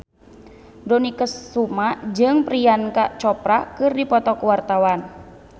Dony Kesuma jeung Priyanka Chopra keur dipoto ku wartawan